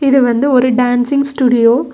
இது வந்து ஒரு டான்சிங் ஸ்டுடியோ .